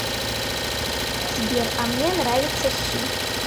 сбер а мне нравятся щи